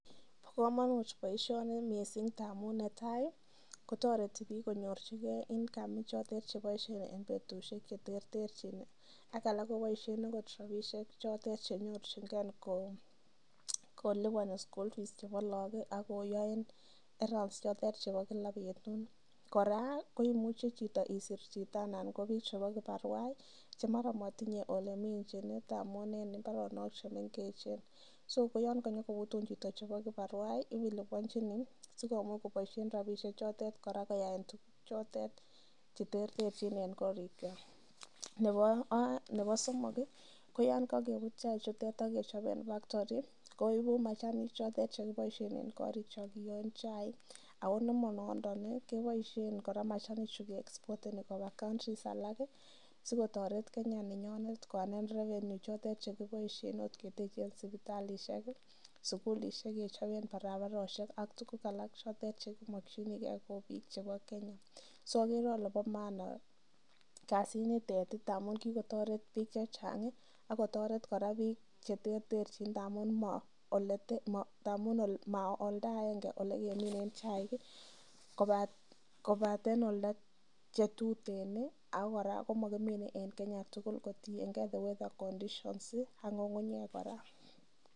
Bo komonut boisioni mising ngamun netai ko toreti biik konyorchige income ichotet chbeoisien en betusiek che terterchin ak alak koboisien agot rabinik che nyorjinge koliponi school fees chebo lagok ak koyaen chotet chebo kila betut, kora koiuche chito isir chito anan ko biik chebo kibarua chemara motinye oleminchin ngamun en mbaronok che mengechen so koyon konyo kobutun chito chebo kibarua ko iliponchini sikomuch kora kobboisien rabinik chotet koyaen tuguk che terterchin en korikwak. Nebo somok ko yon kokebut chiak chutet ak kechob en factory koigu machanik chotet che kiboisien en korikyok kiyoen chaik ana nemonondon keboiisen kora machanichu ke export eni koba countries alak sikotoret Kenya nenyonet koearnen revenue chotet chekiboisien ot keteche sipitalisiiek sugulisiek, kechoben barabarosiek ak tuguk alak chekimokinige ko biiik chebo Kenya. So ogere kole bo maana kasinitet ngamun kigotoret biik che chang ak kotoret kora biik che terterchin ngamun ma oldo agenge ole keminen chaik kobaten oldo che tutuen ago kora komakimeni en Kenya tugul kotienge the weather conditions ak ng'ung'nyek kora.